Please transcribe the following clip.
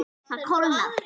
Það kólnar.